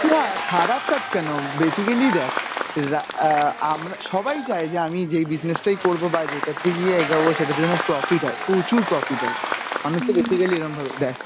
না খারাপ কাজ কেন basically দেখ রা অ্যাঁ আমরা সবাই চায় যে আমি যেই business টাই করবো বা যেটাতে গিয়ে এগাবো সেটাতে যেন profit হয়, প্রচুর profit হয় মানুষ তো basically এরাম ভাবে দেখ